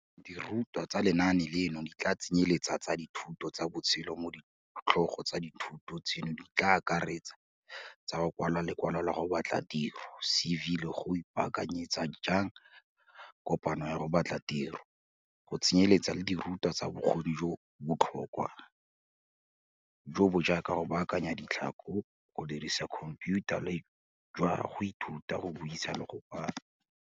Dirutwa tsa lenaane leno di tla tsenyeletsa tsa dithuto tsa botshelo mo ditlhogo tsa dithuto tseno di tla akaretsang tsa go kwala lekwalo la go batla tiro, CV, le gore o ipaakanyetsa jang kopano ya go batla tiro, go tsenyeletsa le dirutwa tsa bokgoni jo bo botlhokwa, jo bo jaaka go baakanya ditlhako, go dirisa khomphiutha le jwa go ithuta go buisa le go kwala.